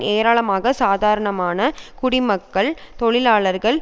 ஏராளமாக சாதாரணமான குடிமக்கள் தொழிலாளர்கள்